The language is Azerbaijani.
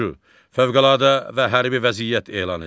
Fövqəladə və hərbi vəziyyət elan edir.